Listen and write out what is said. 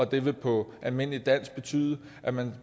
det vil på almindeligt dansk sige at man